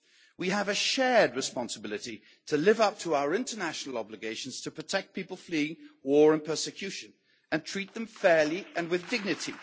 We have a shared responsibility to live up to our international obligations to protect people fleeing war and persecution and treat them fairly and with dignity.